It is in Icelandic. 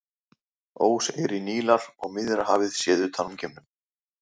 Óseyri Nílar og Miðjarðarhafið séð utan úr geimnum.